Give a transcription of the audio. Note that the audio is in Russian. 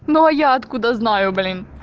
но я откуда знаю блин